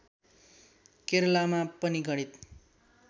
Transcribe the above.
केरलमा पनि गणित